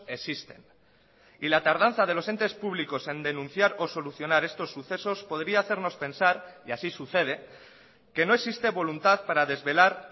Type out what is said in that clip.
existen y la tardanza de los entes públicos en denunciar o solucionar estos sucesos podría hacernos pensar y así sucede que no existe voluntad para desvelar